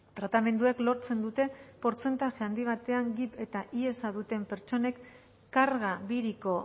tratamenduek lortzen dute portzentaje handi batean gib eta hiesa duten pertsonek karga biriko